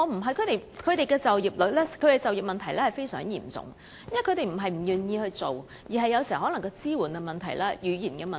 少數族裔的就業問題非常嚴重，他們並非不願意工作，有時其實關乎支援和語言等問題。